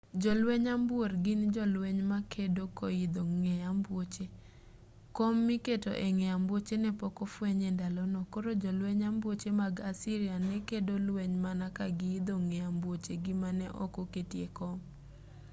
jolwenj ambuor gin jolweny ma kedo koidho ng'e ambuoche kom miketo e ng'e ambuoche ne pok ofweny e ndalono koro jolwenj ambuoche mag assyria ne kedo lweny mana ka giidho ng'e ambuochegi mane ok oketie kom